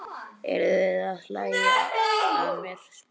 Eruð þér að hlæja að mér? spurði hann.